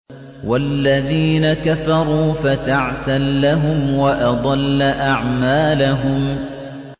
وَالَّذِينَ كَفَرُوا فَتَعْسًا لَّهُمْ وَأَضَلَّ أَعْمَالَهُمْ